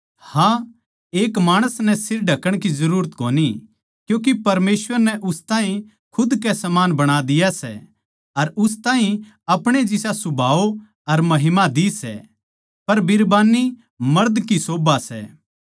हाँ एक माणस नै सिर ढक्ण की जरूरत कोनी क्यूँके परमेसवर नै उस ताहीं खुद के समान बणा दिया सै अर उस ताहीं अपणे जिसा सुभाव अर महिमा दि सै पर बिरबान्नी मर्द की शोभा सै